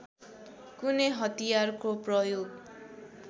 कुनै हतियारको प्रयोग